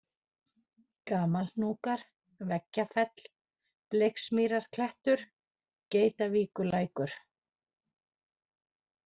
Gamalhnúkar, Veggjafell, Bleiksmýrarklettur, Geitavíkurlækur